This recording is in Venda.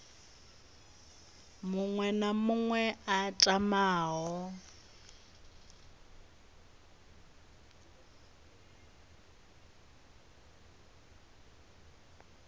muṅwe na muṅwe a tamaho